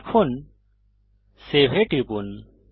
এখন সেভ এ টিপুন